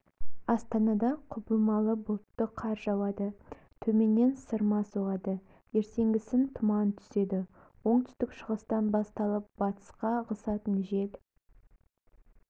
астанада құбылмалы бұлтты қар жауады төменнен сырма соғады ертеңгісін тұман түседі оңтүстік-шығыстан басталып батысқа ығысатын жел